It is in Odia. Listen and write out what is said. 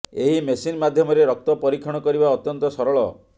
ଏହି ମେସିନ ମାଧ୍ୟମରେ ରକ୍ତ ପରୀକ୍ଷଣ କରିବା ଅତ୍ୟନ୍ତ ସରଳ